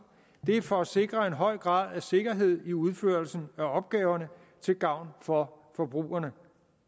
det er for at sikre en høj grad af sikkerhed i udførelsen af opgaverne til gavn for forbrugerne